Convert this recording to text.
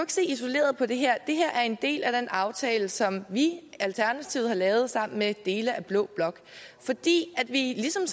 se isoleret på det her det her er en del af den aftale som vi alternativet har lavet sammen med dele af blå blok fordi vi ligesom